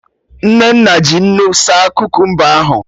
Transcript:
Nnenna ji nnu saa Kukumba ahụ